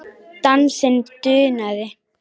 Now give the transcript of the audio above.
Dansinn dunaði.